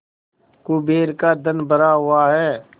कुबेर का धन भरा हुआ है